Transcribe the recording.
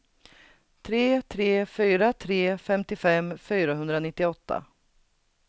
tre tre fyra tre femtiofem fyrahundranittioåtta